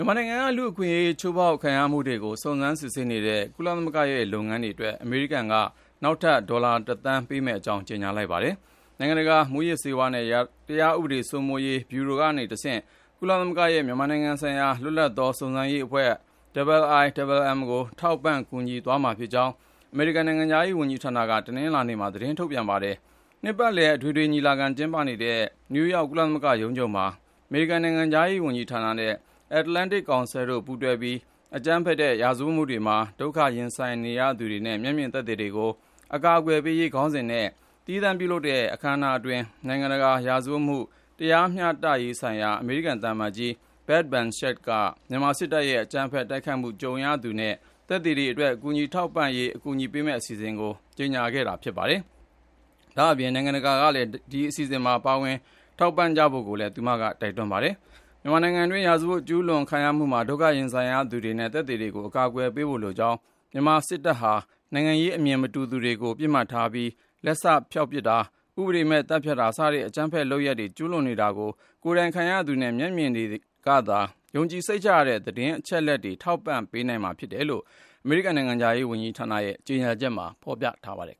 ြန်မာနိုင်ငံက လူ့အခွင့်အရေး ချိုးဖောက်မှုတွေကို စုံစမ်းစစ်ဆေးနေတဲ့ ကုလသမဂ္ဂရဲ့ လုပ်ငန်းတွေအတွက် အမေရိကန်က နောက်ထပ် ဒေါ်လာ ၁ သန်းပေးမယ့်အကြောင်း ကြေညာလိုက်ပါတယ်။ နိုင်ငံတကာ မူးယစ်ဆေးဝါးနဲ့ တရားဥပဒေစိုးမိုးရေး ဗျူရိုကတဆင့် ကုလသမဂ္ဂရဲ့ မြန်မာနိုင်ငံဆိုင်ရာ လွတ်လပ်သော စုံစမ်းရေးအဖွဲ့ IIMM ကို ထောက်ပံ့ကူညီသွားမှာဖြစ်ကြောင်း အမေရိကန်နိုင်ငံခြားရေး ဝန်ကြီးဌာနက တနင်္လာနေ့မှာ သတင်းထုတ်ပြန်ခဲ့တာပါ။ နှစ်ပတ်လည် အထွေထွေညီလာခံကျင်းပနေတဲ့ နယူးယောက် ကုလသမဂ္ဂရုံးချုပ်မှာ၊ အမေရိကန် နိုင်ငံခြားရေးဌာနနဲ့ Atlantic Council တို့ပူးတွဲပြီး “အကြမ်းဖက်တဲ့ ရာဇဝတ်မှုတွေမှာ ဒုက္ခရင်ဆိုင်ရသူတွေနဲ့ မျက်မြင်သက်သေတွေကို အကာအကွယ်ပေးရေး” ခေါင်းစဉ်နဲ့ သီးသန့်ပြုလုပ်တဲ့ အခန်းအနားအတွင်း နိုင်ငံတကာရာဇဝတ်မှု တရားမျှတရေးဆိုင်ရာ အမေရိကန် သံအမတ်ကြီး Beth Van Schaack က မြန်မာစစ်တပ်ရဲ့အကြမ်းဖက် တိုက်ခိုက်မှု ကြုံခဲ့ရသူတွေနဲ့ မျက်မြင်သက်သေတွေအတွက် ကူညီထောက်ပံ့နိုင်ရေး အကူအညီပေးမယ့် အစီအစဉ်ကို ကြေညာခဲ့တာဖြစ်ပြီး၊ တခြားနိုင်ငံတကာ အစိုးရတွေ အနေနဲ့လည်း အလားတူ ကူညီထည့်ဝင်ကြဖို့ကိုလည်း တိုက်တွန်းထားပါတယ်။ မြန်မာနိုင်ငံတွင်း ရာဇဝတ် ကျူးလွန်ခံရမှုမှာ ဒုက္ခရင်ဆိုင်ရသူတွေနဲ့ သက်သေတွေကို အကာအကွယ်ပေးဖို့ လိုကြောင်း၊ မြန်မာစစ်တပ်ဟာ နိုင်ငံရေးအမြင် မတူသူတွေကို ပစ်မှတ်ထားပြီး လက်စဖျောက်ပစ်တာ၊ ဥပဒေမဲ့ သတ်ဖြတ်တာ စတဲ့ အကြမ်းဖက် ရာဇဝတ်မှု ကျူးလွန် နေတာကို ကိုယ်တိုင်ခံရသူတွေနဲ့ မျက်မြင်တွေကသာ ယုံကြည်စိတ်ချရတဲ့ သတင်းအချက်အလက်တွေ ထောက်ပံ့နိုင်မှာဖြစ်တယ်လို့ အမေရိကန်နိုင်ငံခြားရေးဌာနရဲ့ ကြေညာချက်မှာဖေါ်ပြပါတယ်